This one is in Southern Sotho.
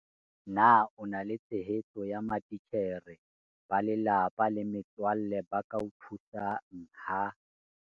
Na o na le tshehetso ya matitjhere, ba lelapa le metswalle ba ka o thusang ha